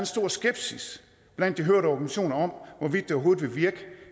stor skepsis blandt de hørte organisationer om hvorvidt det overhovedet vil virke